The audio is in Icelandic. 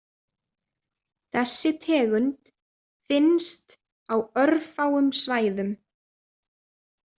Þessi tegund finnst á örfáum svæðum.